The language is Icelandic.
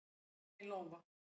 Lína í lófa